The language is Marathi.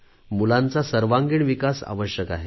मुलांचा सर्वांगिण विकास आवश्यक आहे